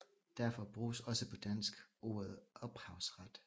Derfor bruges også på dansk ordet ophavsret